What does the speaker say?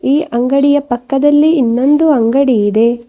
ಈ ಅಂಗಡಿಯ ಪಕ್ಕದಲ್ಲಿ ಇನ್ನೊಂದು ಅಂಗಡಿ ಇದೆ.